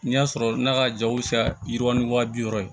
N'i y'a sɔrɔ n'a ka jaw bɛ se ka yiriwa ni wa bi wɔɔrɔ ye